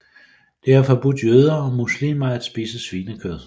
Det er forbudt jøder og muslimer at spise svinekød